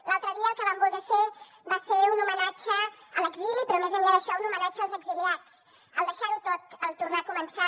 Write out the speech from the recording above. l’altre dia el que vam voler fer va ser un homenatge a l’exili però més enllà d’això un homenatge als exiliats al deixar ho tot al tornar a començar